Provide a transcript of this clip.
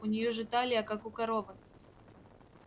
у неё же талия как у коровы